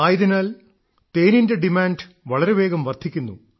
ആയതിനാൽ തേനിന്റെ ഡിമാന്റ് വളരെ വേഗം വർദ്ധിക്കുന്നു